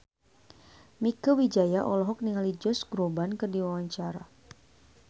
Mieke Wijaya olohok ningali Josh Groban keur diwawancara